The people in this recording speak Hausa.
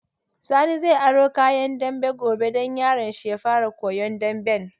Sani zai aro kayan dambe gobe don yaron shi ya fara koyan damben.